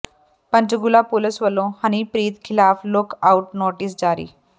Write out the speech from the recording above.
Panchkula police ਵੱਲੋਂ ਹਨੀਪ੍ਰੀਤ ਖਿਲਾਫ look out notice ਜਾਰੀ